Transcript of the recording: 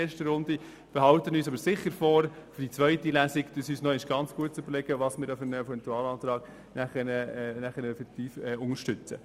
Wir behalten uns aber vor, uns für die zweite Runde sehr genau zu überlegen, welchen Eventualantrag wir unterstützen.